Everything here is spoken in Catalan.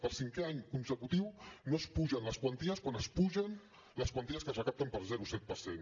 per cinquè any consecutiu no s’apugen les quanties quan pugen les quanties que es recapten per zero coma set per cent